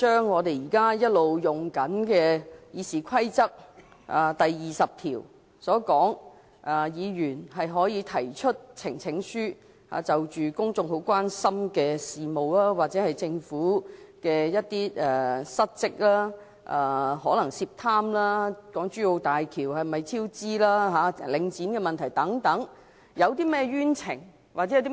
我們一直沿用《議事規則》第20條，讓議員提出呈請書，就公眾關心的事務或政府的失職，可能是涉貪、港珠澳大橋超支和領展問題等，交付專責委員會處理。